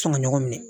Sɔn ŋa ɲɔgɔn minɛ